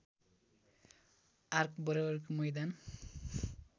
arc बराबरको मैदान